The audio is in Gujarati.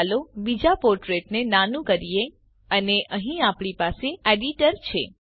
ચાલો બીજાં પોર્ટીલેટને નાનું કરીએ અને અહીં આપણી પાસે એડીટર છે